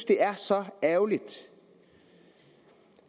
det er så ærgerligt